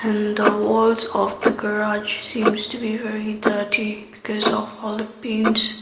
and the walls of the garage seems to be very dirty because of all the paints.